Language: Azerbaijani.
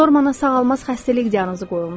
Normana sağalmaz xəstəlik diaqnozu qoyulmuşdu.